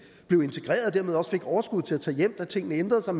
blev integreret og dermed også fik overskuddet til at tage hjem da tingene ændrede sig